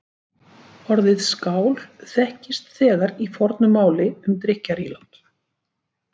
Orðið skál þekkist þegar í fornu máli um drykkjarílát.